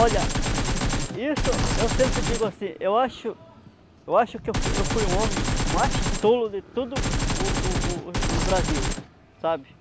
Olha, isso eu sempre digo assim, eu acho eu acho que eu fui eu fui o homem mais tolo de todo o o o o Brasil, sabe?